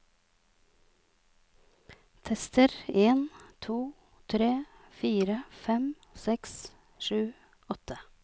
Tester en to tre fire fem seks sju åtte